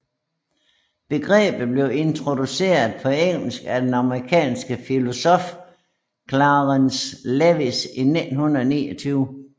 Begrebet blev introduceret på engelsk af den amerikanske filosof Clarence Lewis i 1929